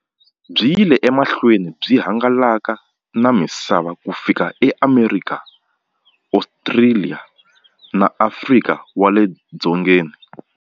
Byi yile emahlweni byi hangalaka na misava ku fika e Amerika, Ostraliya na Afrika wale dzongeni.